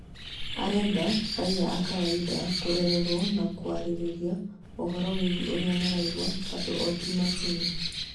arenda raiya a kawaida kũrererwo na kwarĩrĩria ũhoro wĩgiĩ ũria maraigwa tondũ o ti macini